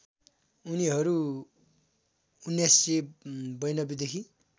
उनीहरु १९९२ देखि